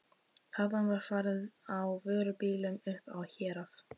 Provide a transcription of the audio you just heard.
Þaðan var farið á vörubílum upp á Hérað.